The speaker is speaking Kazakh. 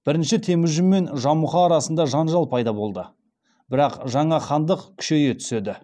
бірінші темүжін мен жамұха арасында жанжал пайда болады бірақ жаңа хандық күшейе түседі